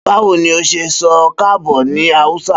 Bawo ni o ṣe sọ kaabo ni Hausa?